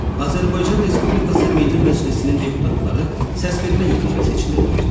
Azərbaycan Respublikası Milli Məclisinin deputatları səsvermə yolu ilə seçilirlər.